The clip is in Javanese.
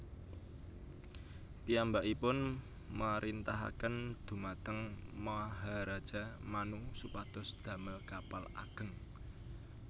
Piyambakipun marintahaken dhumateng Maharaja Manu supados damel kapal ageng